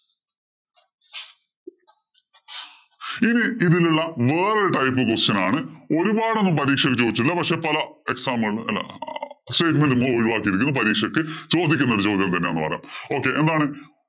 ഇനി ഇതിലുള്ള വേറെ type question ആണ്. ഒരുപാടൊന്നും പരീക്ഷയ്ക്ക് ചോദിച്ചില്ല. പക്ഷേ പല exam ഉകളിലും നിന്ന് ഒഴിവാക്കിയിരിക്കുന്നു. പരീക്ഷയ്ക്ക് ചോദിക്കുന്ന ഒരു ചോദ്യം തന്നെയാണ് എന്ന് പറയാം. Okay എന്താണ്?